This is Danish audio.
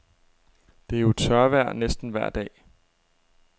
Det er jo tørvejr næsten vejr dag.